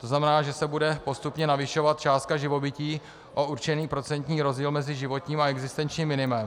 To znamená, že se bude postupně navyšovat částka živobytí o určený procentní rozdíl mezi životním a existenčním minimem.